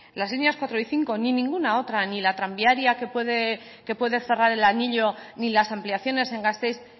las líneas cuatro y cinco ni ninguna otra ni la tranviaria que puede cerrar el anillo ni las ampliaciones en gasteiz